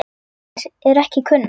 Orsakir eru ekki kunnar.